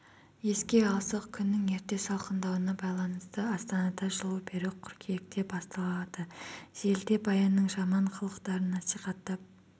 еске алсақ күннің ерте салқындауына байланысты астанада жылу беру қыркүйекте басталады желіде баянның жаман қылықтарын насихаттап